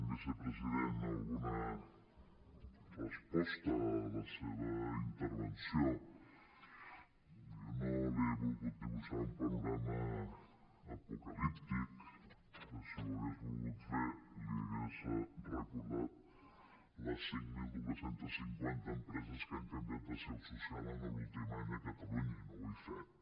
vicepresident alguna resposta a la seva intervenció jo no li he volgut dibuixar un panorama apocalíptic que si ho hagués volgut fer li hauria recordat les cinc mil dos cents i cinquanta empreses que han canviat de seu social l’últim any a catalunya i no ho he fet